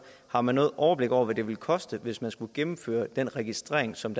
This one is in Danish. har man noget overblik over hvad det ville koste hvis man skulle gennemføre den registrering som